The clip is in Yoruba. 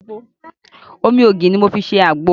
Omi ògì ni mo fi ṣe àgbo